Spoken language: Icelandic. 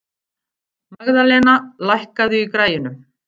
Magðalena, lækkaðu í græjunum.